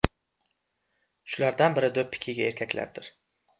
Shulardan biri do‘ppi kiygan erkaklardir.